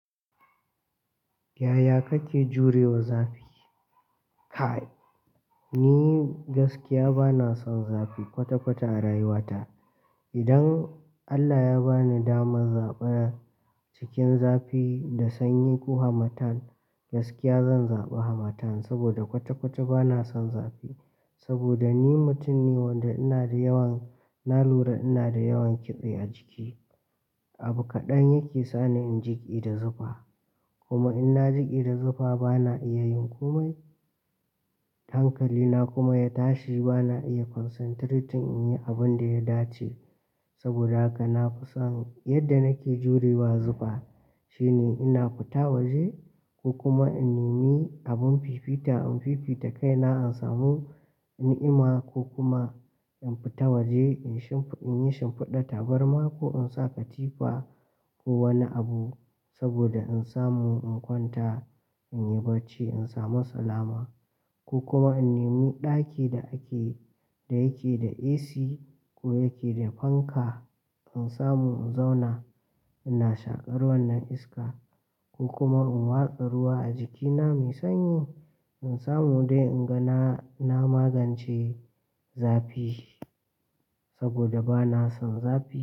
Yaya kake jurewa zafi? Kai, ni gaskiya bana son zafi kwata-kwata a rayuwata. Idan Allah ya ba ni daman zaɓar cikin zafi da sanyi ko hamatan, gaskiya zan zaɓi hamatan sabida kwata-kwata bana son zafi. Saboda ni mutum ne wanda ina da yawan, na lura ina da yawan kitse a jiki. Abu kaɗan yake sani in jiƙe da zufa. Kuma in na jiƙe da zufa bana iya yin komai. Hankalina kuma ya tashi bana iya concentrating in yi abinda ya dace. Sabida haka nafi son yanda nake jurewa zufa shine ina fita waje ko kuma in nemi abun fifita in fifita kaina in samu ni'ima ko kuma in fita waje inyi shimfiɗar tabarma ko in sa katifa ko wani abu sabida in samu in kwanta, in yi barci, in samu salama ko kuma in nemi ɗaki da ake, da yake da AC ko yake da fanka in samu in zauna ina shaƙar wannan iska ko kuma in watsa ruwa a jikina mai sanyi in samu dai in ga na magance zafi saboda bana son zafi.